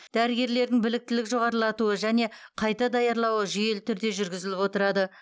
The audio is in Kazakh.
дәрігерлердің біліктілік жоғарылатуы және қайта даярлауы жүйелі түрде жүргізіліп отырады